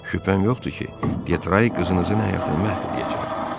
Şübhəm yoxdur ki, Detray qızınızın həyatını məhv eləyəcək.